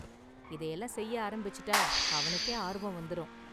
இதையெல்லாம் செய்ய ஆரம்பிச்சுட்டா, அவனுக்கே ஆர்வம் வந்துரும்.